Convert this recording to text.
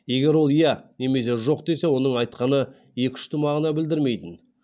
егер ол иә немесе жоқ десе оның айтқаны екі ұшты мағына білдірмейтін